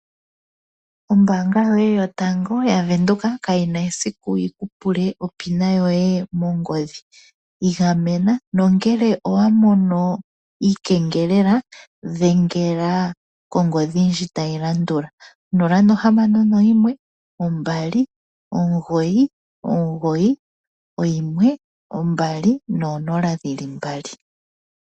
Ombaanga yaVenduka ka yi na esiku yi ku pule onomola yoye yopaumwene mongodhi, igamena nongele owa mono iikengelela dhengela kongodhi tayi landula: 061 2991200.